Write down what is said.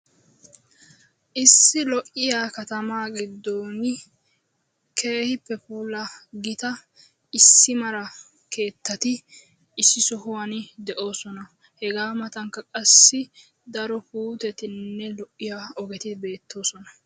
Issi lo"iya katamaa giddon keehippe puula gita issi mala keettati issi sohuwan de'oosona. Hegaa matanikka qassi daro puutettinne lo'iya ogeti beettoosona.